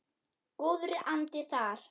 Góður andi þar.